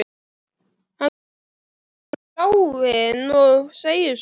Hann starir út í bláinn og segir svo